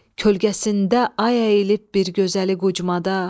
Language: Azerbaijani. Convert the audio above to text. Kölgəsində ay əyilib bir gözəli qucmada.